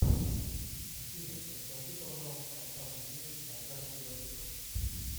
афина подскажи пожалуйста остаток денег на карте втб